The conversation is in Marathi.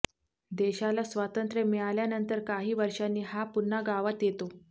देशाला स्वातंत्र्य मिळाल्यानंतर काही वर्षांनी हा पुन्हा गावात येतो